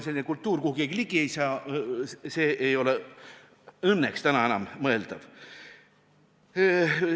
Selline kultuuriobjekt, kuhu keegi ligi ei saa, ei ole õnneks enam mõeldav.